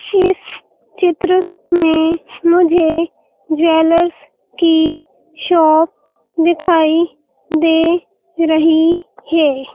इस चित्र में मुझे ज्वेलर्स की शॉप दिखाई दे रही है।